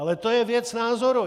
Ale to je věc názoru.